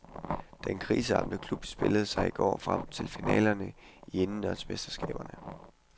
Den kriseramte klub spillede sig i går frem til finalerne i indendørsmesterskaberne.